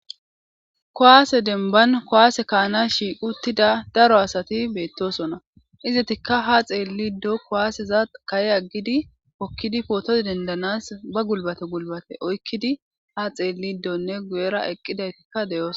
Kowaase denban kowaase kaana shiiquttida daro asati beettosona izetikka ha xeelli ddo kowaaseza kaye aggidi okkidi pootoz dendanas ba gulbate gulbate oykkidi ha xeelli ddonne guyera eqqidaytikka deyoos.